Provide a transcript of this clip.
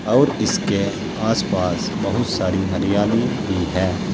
और इसके आस पास बहुत सारी हरियाली भी है।